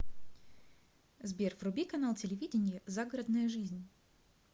сбер вруби канал телевидения загородная жизнь